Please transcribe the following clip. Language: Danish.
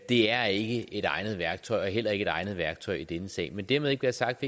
det er ikke et egnet værktøj og heller ikke et egnet værktøj i denne sag men dermed ikke være sagt